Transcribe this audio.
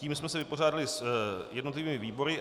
Tím jsme se vypořádali s jednotlivými výbory.